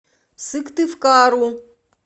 сыктывкару